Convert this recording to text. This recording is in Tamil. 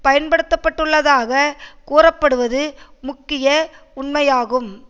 பயன்படுத்தப்பட்டுள்ளதாக கூறப்படுவது முக்கிய உண்மையாகும்